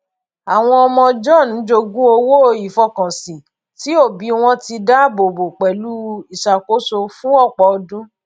àwọn ọmọ john jogún owó ìfọkànsìn tí òbí wọn ti dáàbò bo pẹlú ìṣàkóso fún ọpọ ọdún